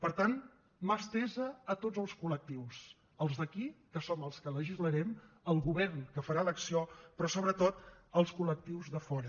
per tant mà estesa a tots els col·lectius als d’aquí que som els que legislarem al govern que farà l’acció però sobretot als col·lectius de fora